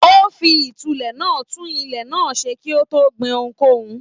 O fí ìtúlẹ̀ náà tún ilẹ̀ náà ṣe kí o tó gbìn ohunkóhun.